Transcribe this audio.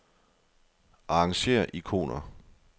Arrangér ikoner.